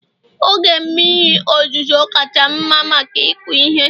oge mmiri ozuzo kacha mma maka ịkụ ihe